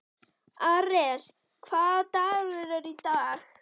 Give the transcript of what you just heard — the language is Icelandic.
Ares, hvaða dagur er í dag?